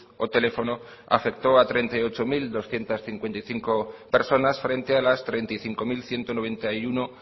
o teléfono afectó a treinta y ocho mil doscientos cincuenta y cinco personas frente a las treinta y cinco mil ciento noventa y uno